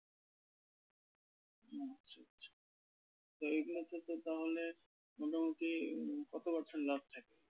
তো এইগুলোতে তো তাহলে মোটামুটি কত percent লাভ থাকে?